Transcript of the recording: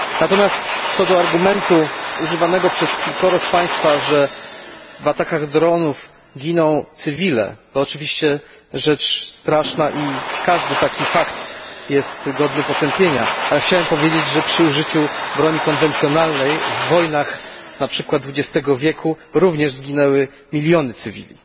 Natomiast co do argumentu używanego przez kilkoro z Państwa, że w atakach dronów giną cywile, to oczywiście rzecz straszna i każdy taki fakt jest godny potępienia, ale chciałem powiedzieć, że przy użyciu broni konwencjonalnej w wojnach na przykład XX wieku również zginęły miliony cywili.